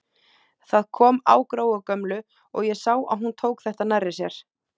Það kom á Gróu gömlu og ég sá að hún tók þetta nærri sér.